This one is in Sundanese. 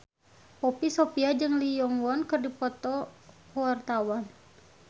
Poppy Sovia jeung Lee Yo Won keur dipoto ku wartawan